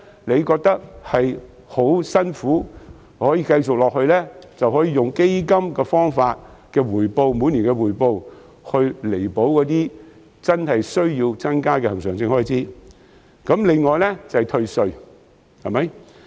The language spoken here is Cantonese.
當感到吃力時，就可以利用基金每年的回報，彌補真正有需要增加的恆常性開支或是退稅。